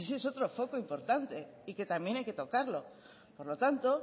ese es otro foco importante y que también hay que tocarlo por lo tanto